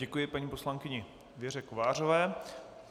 Děkuji paní poslankyni Věře Kovářové.